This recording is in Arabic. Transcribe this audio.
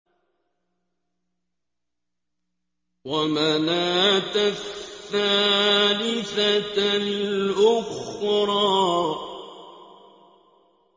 وَمَنَاةَ الثَّالِثَةَ الْأُخْرَىٰ